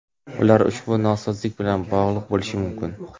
Ular ushbu nosozlik bilan bog‘liq bo‘lishi mumkin.